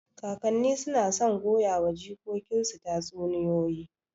Kakanni suna son goyawa jikokinsu tatsuniyoyi.